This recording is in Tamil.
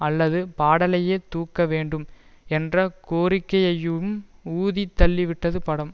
அல்லது பாடலையே தூக்க வேண்டும் என்ற கோரிக்கையையும் ஊதி தள்ளிவிட்டது படம்